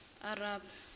aribe